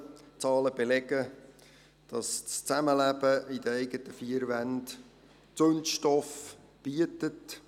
Die Zahlen belegen, dass das Zusammenleben in den eigenen vier Wänden Zündstoff bietet.